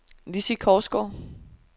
Lissi Korsgaard